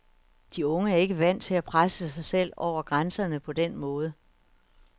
De unge er ikke vant til at presse sig selv over grænserne på den måde.